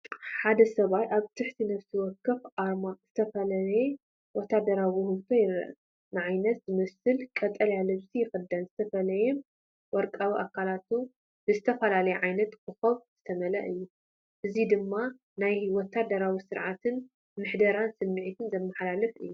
ሓደ ሰብኣይ ኣብ ትሕቲ ነፍሲ ወከፍ ኣርማ ዝተፈላለየ ወተሃደራዊ ውህደት ይረአ። ንዓይነት ዝመስል ቀጠልያ ልብሲ ይኽደን፡ ዝተፈላለየ ወርቃዊ ኣካላቱ ብዝተፈላለየ ዓይነት ኮኾብ ዝተመልአ እዩ። እዚ ድማ ናይ ወተሃደራዊ ስርዓትን ምሕደራን ስምዒት ዘመሓላልፍ እዩ።